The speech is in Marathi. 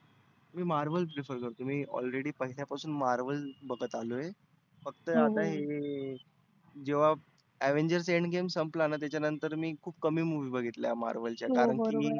मी marwell prefer करतो. मी already पहिल्यापासून marwell बघत आलोय. फक्त आता हे जेव्हा avangers end games संपलाना त्याच्या नंतर मी त्याच्या नंतर कमी movie बघितल्या marvel च्या कारण की मी